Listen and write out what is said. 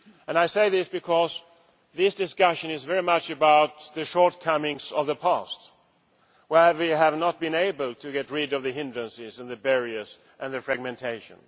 I say this because this discussion is very much about the shortcomings of the past, where we have not been able to get rid of the hindrances, barriers and fragmentation.